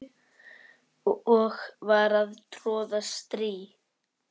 og var að troða strý